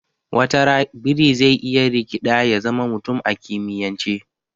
Watara biri zai iya rikiɗa ya zama mutum a kimiyance